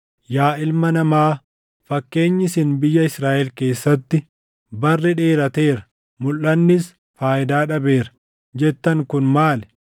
“Yaa ilma namaa, fakkeenyi isin biyya Israaʼel keessatti, ‘Barri dheerateera; mulʼannis faayidaa dhabeera’ jettan kun maali?